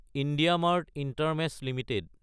IndiaMART intermesh Ltd